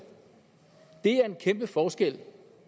det er en kæmpe forskel